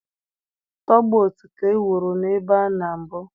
Tọgbot ka e wuru na ebe a na mbụ.